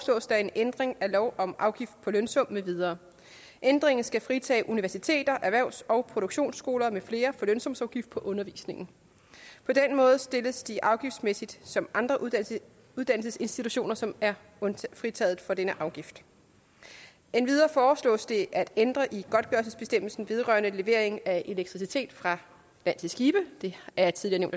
der en ændring af lov om afgift på lønsum med videre ændringen skal fritage universiteter erhvervs og produktionsskoler med flere for lønsumsafgift på undervisningen på den måde stilles de afgiftsmæssigt som andre uddannelsesinstitutioner som er fritaget for denne afgift endvidere foreslås det at ændre i godtgørelsesbestemmelsen vedrørende levering af elektricitet fra land til skibe det er tidligere